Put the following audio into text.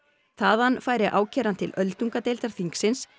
þaðan færi ákæran til öldungadeildar þingsins